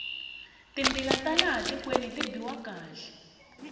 timbila ta laha tikweni ti biwa kahle